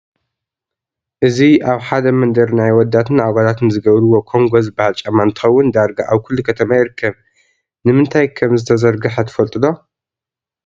እዚ አብ ሐደ መንደር ናይ አወዳትን አጓላትን ዝገብርዎ ኮንጎ ዝበሃል ጫማ እንትኸውን ዳርጋ አብ ኩሉ ከተማ ይርከብ። ንምንታይ ከምዝተዘርግሐ ትፈልጥ ዶ?